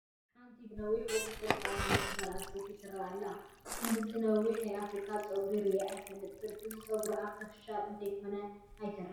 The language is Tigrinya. ሓንቲ ብነዊሑ ቁፅርፅር ዝተቖነነት ጓል ኣነስተይቲ ትርአ ኣላ፡፡ ክንዲ እዚ ዝነውሕ ናይ ኣፍሪካዊት ጨጉሪ ርኢ ኣይፈልጥን፡፡ እዚ ጨጉሪ ኣርተፊሻል እንተይኮነ ኣይተርፍን፡፡